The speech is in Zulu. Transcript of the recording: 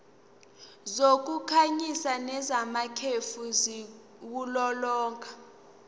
zokukhanyisa nezamakhefu ziwulolonga